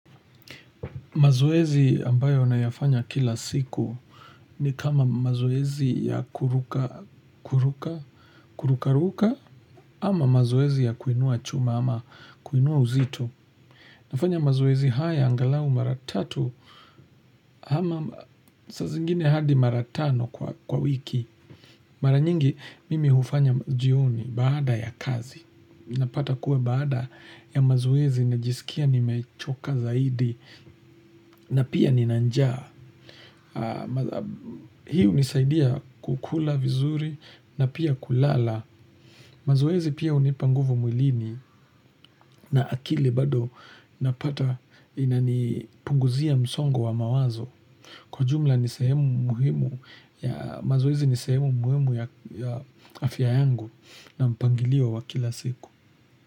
Mazoezi ambayo nayafanya kila siku ni kama mazoezi ya kuruka, kuruka, kuruka, ruka, ama mazoezi ya kuinua chuma ama kuinua uzito. Nafanya mazoezi haya, angalau mara tatu, ama sa zingine hadi mara tano kwa wiki. Mara nyingi mimi hufanya jioni baada ya kazi. Napata kuwa baada ya mazoezi najiskia nimechoka zaidi na pia nina njaa hii hunisaidia kukula vizuri na pia kulala. Mazoezi pia hunipa nguvu mwilini na akili bado napata inanipunguzia msongo wa mawazo kwa jumla ni sehemu muhimu ya mazoezi ni sehemu muhimu ya afya yangu na mpangilio wa kila siku.